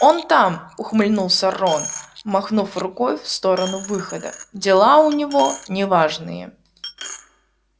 он там ухмыльнулся рон махнув рукой в сторону выхода дела у него неважные